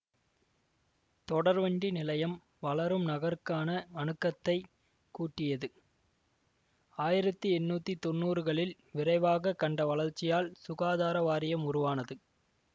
தொடர்வண்டி நிலையம் வளரும் நகருக்கான அணுக்கத்தைக் கூட்டியது ஆயிரத்தி எண்ணூத்தி தொன்னூறுகளில் விரைவாக கண்ட வளர்ச்சியால் சுகாதார வாரியம் உருவானது